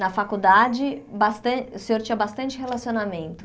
Na faculdade, bastan o senhor tinha bastante relacionamento.